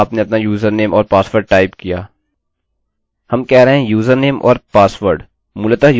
हम कह रहे हैं यूजरनेम और पासवर्ड मूलतः यूजरनेम खुद से ही true है क्योंकि यह मौजूद है